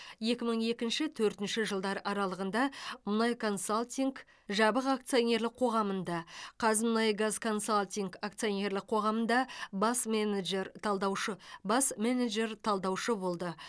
екі мың екінші төртінші жылдар аралығында мұнайконсалтинг жабық акционерлік қоғамында қазмұнайгазконсалтинг акционерлік қоғамында бас менеджер талдаушы бас менеджер талдаушы болды